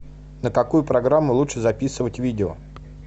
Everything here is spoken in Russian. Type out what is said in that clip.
на какую программу лучше записывать видео